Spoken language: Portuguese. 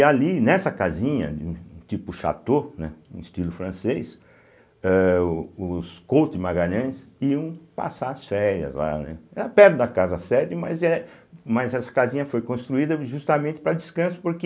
E ali, nessa casinha, tipo chateau, né, num estilo francês, eh os os Coutos de Magalhães iam passar as férias lá, né, era perto da casa sede, mas é mas essa casinha foi construída justamente para descanso, porque